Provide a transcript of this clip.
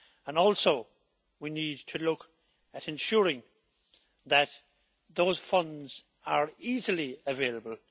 We also need to look at ensuring that those funds are easily available.